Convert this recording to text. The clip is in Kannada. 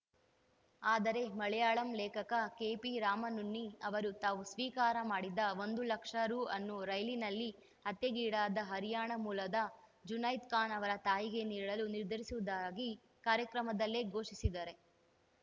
ಆದರೆ ಮಲಯಾಳಂ ಲೇಖಕ ಕೆಪಿರಾಮನುನ್ನಿ ಅವರು ತಾವು ಸ್ವೀಕಾರ ಮಾಡಿದ ಒಂದು ಲಕ್ಷ ರು ಅನ್ನು ರೈಲಿನಲ್ಲಿ ಹತ್ಯೆಗೀಡಾದ ಹರ್ಯಾಣ ಮೂಲದ ಜುನೈದ್‌ ಖಾನ್‌ ಅವರ ತಾಯಿಗೆ ನೀಡಲು ನಿರ್ಧರಿಸಿರುವುದಾಗಿ ಕಾರ್ಯಕ್ರಮದಲ್ಲೇ ಘೋಷಿಸಿದ್ದಾರೆ